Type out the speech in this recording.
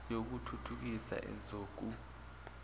yoku thuthukisa ezoku